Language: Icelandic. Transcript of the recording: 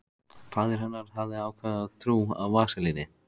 Faðir hennar hafði ákafa trú á vaselíni.